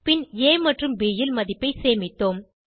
பின் ஆ மற்றும் ப் ல் மதிப்பை சேமித்தோம்